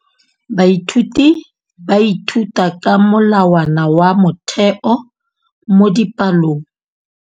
Baithuti ba ithuta ka molawana wa motheo mo dipalong.